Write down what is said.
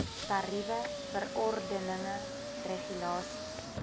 tariewe verordeninge regulasies